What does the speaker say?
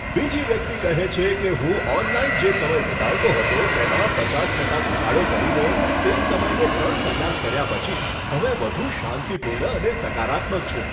બીજી વ્યક્તિ કહે છે કે, હું ઓનલાઈન જે સમય વીતાવતો હતો તેમાં 50 ટકા ઘટાડો કરીને તે સમયને 3 કલાક કર્યા પછી હવે વધુ શાંતિપૂર્ણ અને સકારાત્મક છું.